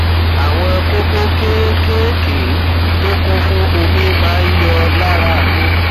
àwọn kókó kéékèèké tó kún fún omi máa ń yọ lára mi